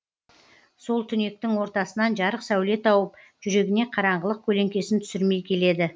сол түнектің ортасынан жарық сәуле тауып жүрегіне қараңғылық көлеңкесін түсірмей келеді